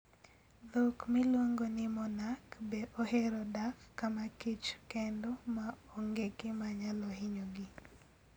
Dhok miluongo ni monarch bee ohero dak kama kichr kendo ma onge gima nyalo hinyogi.